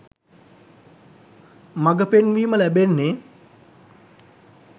මඟපෙන්වීම ලැබෙන්නේ.